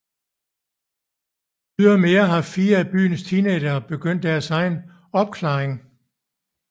Ydermere har fire af byens teenagere begyndt deres egen opklaring